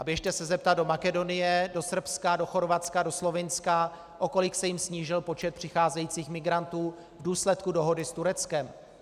A běžte se zeptat do Makedonie, do Srbska, do Chorvatska, do Slovinska, o kolik se jim snížil počet přicházejících migrantů v důsledku dohody s Tureckem.